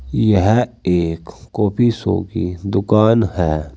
यह एक कॉफी शो की दुकान है।